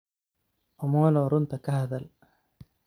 Omolo runtaa kahadhal.